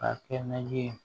Ka kɛ na ye